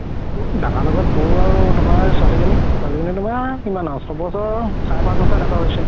দাদাৰ লগত বৌ আৰু তুমাৰ ছোৱালি জনি, ছোৱালি জনি তুমাৰ কিমান ডাঙৰ চয় বছৰ চাৰে পাচ বছৰ এনেকুৱা হৈছে